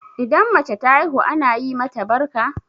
Idan mace ta haihu ana yi mata barka?